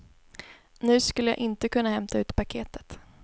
Nu skulle jag inte kunna hämta ut paketet.